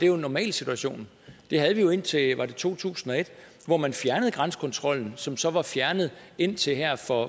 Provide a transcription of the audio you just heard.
jo normalsituationen det havde vi jo indtil var det to tusind og et hvor man fjernede grænsekontrollen som så var fjernet indtil her for